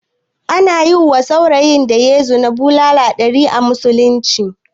Ana yiwa saurayin da yayi zina bulala ɗari a musulunce